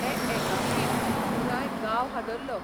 हे एकांकीन पुराय गांव हादरलो.